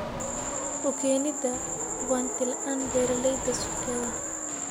U keenida hubanti la'aan beeralayda suuqyada.